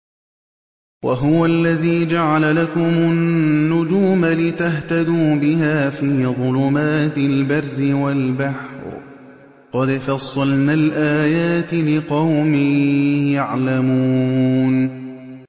وَهُوَ الَّذِي جَعَلَ لَكُمُ النُّجُومَ لِتَهْتَدُوا بِهَا فِي ظُلُمَاتِ الْبَرِّ وَالْبَحْرِ ۗ قَدْ فَصَّلْنَا الْآيَاتِ لِقَوْمٍ يَعْلَمُونَ